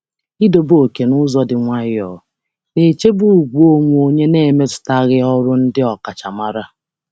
Ịtọ ókè n’ụzọ dị jụụ na-echebe ugwu onwe onye na-emetụtaghị ọrụ ọkachamara.